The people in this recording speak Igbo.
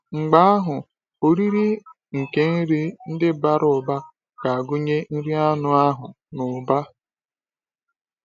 Mgbe ahụ, “oriri nke nri ndị bara ụba” ga-agụnye nri anụ ahụ n’ụba.